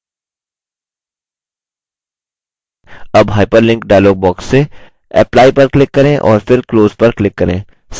अब hyperlink dialog box से apply पर click करें और फिर close पर click करें